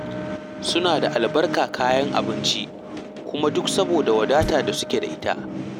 Suna da albarkar kayan abinci, kuma duk saboda wadata da suke da ita.